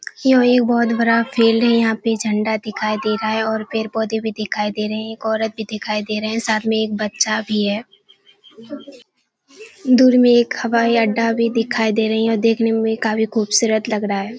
यूं ही एक बहुत बड़ा फील्ड है यहाँ पे झंडा से दिखाई दे रहा है और पेड़-पौधे भी दिखाई दे रहे हैं एक औरत भी दिखाई दे रहे हैं साथ में एक बच्चा भी है दूर में एक हवाई अड्डा भी दिखाई दे रही है जो देखने में काफी खूबसूरत लग रहा है।